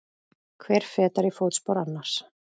Hver fetar í fótspor annars.